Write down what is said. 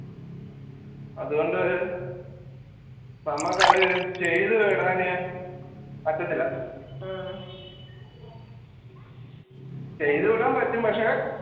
അതുകൊണ്ട് നമുക്ക് അത് ചെയ്തു വിടാൻ പറ്റത്തില്ല ചെയ്തുവിടാൻ പറ്റും പക്ഷേ